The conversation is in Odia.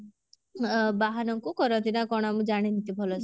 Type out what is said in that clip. ଅ ବାହନଙ୍କୁ କରନ୍ତି ନା କଣ ମୁଁ ଜାଣିନି ଭଲସେ